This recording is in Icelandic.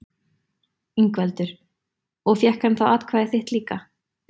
Ingveldur: Og fékk hann þá atkvæðið þitt líka?